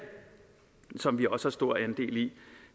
som vi også har stor andel i